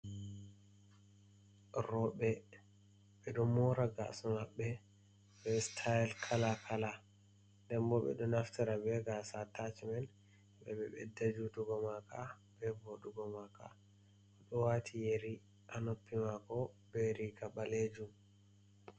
rowɓe ɓe ɗo moora gaasa maɓɓe be sitayel kala kala, nden bo ɓe ɗo naftira be gaasa atacimel ɓe ɗo ɓedda juutugo maaka, be boɗugo maaka. Bo ɗo waati yeri a noppi maako be riiga ɓaleejum.